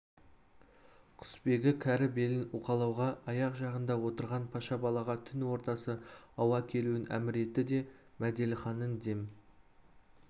құсбегі кәрі белін уқалауға аяқ жағында отырған паша балаға түн ортасы ауа келуін әмір етті де мәделіханның дем